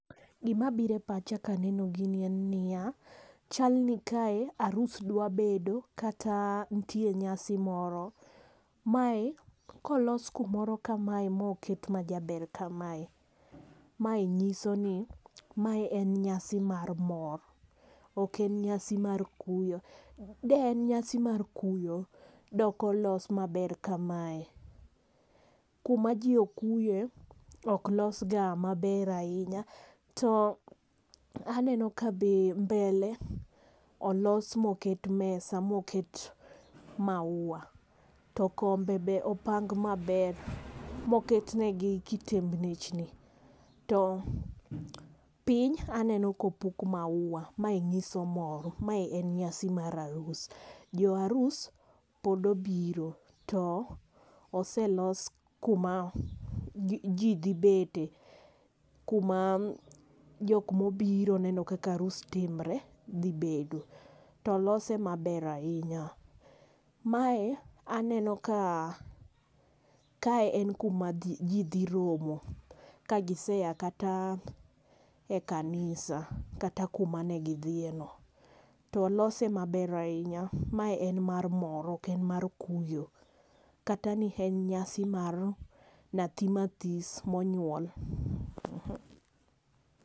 Gima biro epacha ka aneno gini en nia chalni kae arus dwa bedo kata nitie nyasi moro. Mae kolos kumoro kamae moket majaber kamae, mae nyisoni mae en nyasi mar mor ok en nyasi mar kuyo.De en nyasi mar kuyo de ok olosi maber kamae. Kuma ji okuye ok losga maber ahinya to aneno ka be mbele olos moket mesa moket maua. To kombe be opang maber moketnegi kitembnechni. To piny aneno kopuk maua mae nyiso mor mae en nyasi mar arus. Joarus pod obiro to oselos kuma ji ji dhi bete kuma jok mobiro neno kaka arus timre dhi bedo. Tolose maber ahinya. Mae aneno ka kae en kuma ji dhi romo kagisea kata ekanisa kata kuma ne gidhieno. Tolose maber ahinya mae en mar mor ok en mar kuyo kata ni en nyasi mar nyathima this monyuol.